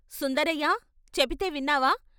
' సుందరయ్య చెపితే విన్నావా?